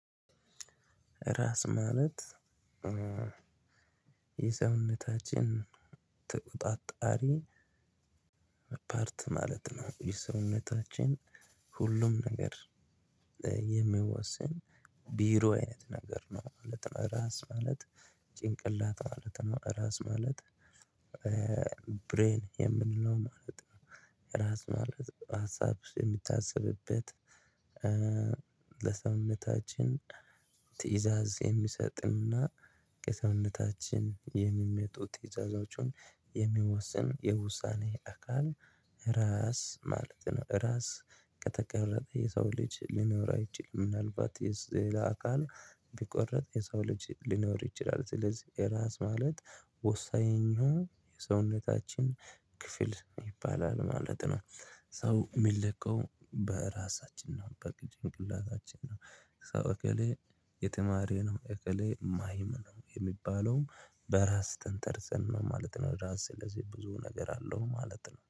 ራስ ማለት የሰውነታችን ተቆጣጣሪ ፓርት ማለት ነው የሰውነታችን ሁሉም ነገር የሚወስን ቢሮ አይነት ነገር ነው ማለት ነው። ራስ ማለት ጭንቅላት ማለት ነው። ራስ ማለት ብሬን የምንለው ማለት ነው። ራስ ማለት ሀሳብ የምታስብበት ለሰውነታችን ትእዛዝ የሚሰጥንና ከሰውነታችን የሚመጡ ትዕዛዞችን የሚወስን የውሳኔ አካል ራስ ማለት ነው። ራስ ከተቆረጠ የሰው ልጅ ሊኖር አይችልም። ምናልባት ሌላ አካል ቢቆረጥ የሰው ልጅ ሊኖር ይችላል። ስለዚህ ራስ ማለት ወሳኝ ነው የሰውነታችን ክፍል ይባላል ማለት ነው። ሰው የሚለካው በራሳችን ነው በጭንቅላታችን ነው። ሰው እከሌ የተማሪ ነው እከሌ ማሀይም ነው የሚባለውም በራስ ተንጠርጸን ነው ማለት ነው። ራስ ስለዚህ ብዙ ነገር አለው ማለት ነው